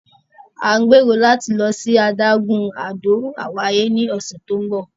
À ń gbẹ̀rò láti lọ sí adágún Àdó Àwáyé ní ọ̀sẹ̀ tí ó ńbọ̀.